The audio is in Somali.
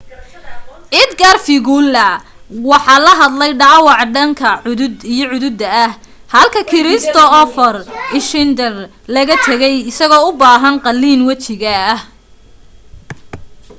edgar veguilla waxa haleelay dhaawac daanka iyo cududa ah halka kristoffer schneider laga tagay isagoo u baahan qaallin wajiga ah